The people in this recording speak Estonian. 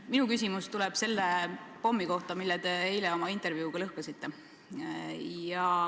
Minu küsimus tuleb selle pommi kohta, mille te eile oma intervjuus lõhkasite.